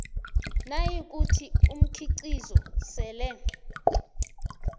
nayikuthi umkhiqizo sele